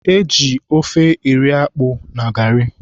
E ji ofe eri akpụ na garị.